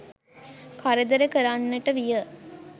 කරදර කරන්නට විය